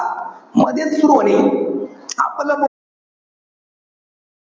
मधेच सुरु व्हायचं. आपलं,